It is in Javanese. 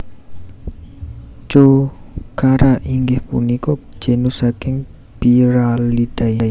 Jocara inggih punika genus saking Pyralidae